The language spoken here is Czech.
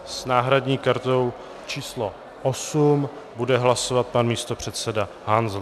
S náhradní kartou číslo 8 bude hlasovat pan místopředseda Hanzel.